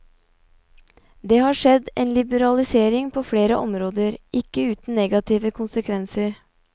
Det har skjedd en liberalisering på flere områder, ikke uten negative konsekvenser.